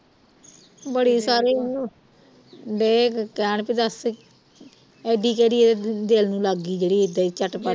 ਬੜੇ ਸਾਰੇ ਉਹਨੂੰ ਦਏ ਕਹਿਣ ਬਈ ਦਸ ਇਡੀ ਕਿਹੜੀ ਇਹ ਦਿਲ ਨੂੰ ਲੱਗ ਗਈ ਜਿਹੜੀ ਇੱਦਾਂ ਈ ਝੱਟ ਪੱਟ